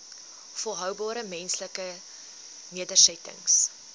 volhoubare menslike nedersettings